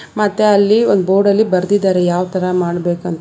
ಮತ್ತೆ ಅಲ್ಲಿ ಒಂದ್ ಬೋರ್ಡಲ್ಲಿ ಬರ್ದಿದ್ದಾರೆ ಯಾವ್ ತರ ಮಾಡ್ಬೇಕಂತ --